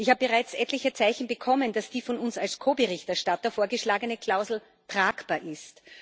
Ich habe bereits etliche Zeichen bekommen, dass die von uns als Ko Berichterstatter vorgeschlagene Klausel tragbar ist.